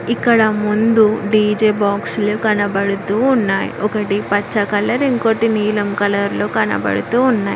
ఇక్కడ ముందు డీజే బాక్స్లు కనబడుతూ ఉన్నాయ్ ఒకటి పచ్చ కలర్ ఇంకోటి నీలం కలర్ లో కనబడుతూ ఉన్నాయ్.